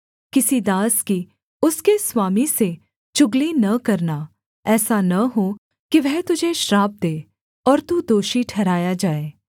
किसी दास की उसके स्वामी से चुगली न करना ऐसा न हो कि वह तुझे श्राप दे और तू दोषी ठहराया जाए